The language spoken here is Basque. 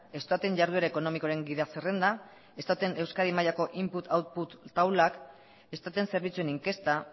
eustaten jarduera ekonomikoaren gida zerrenda eustaten euskadi mailako input output taulak eustaten zerbitzuen inkesta